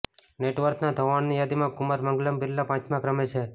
નેટવર્થના ધોવાણની યાદીમાં કુમાર મંગલમ બિરલા પાંચમા ક્રમે છે